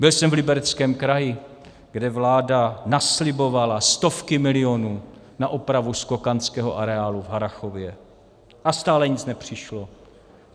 Byl jsem v Libereckém kraji, kde vláda naslibovala stovky milionů na opravu skokanského areálu v Harrachově, a stále nic nepřišlo.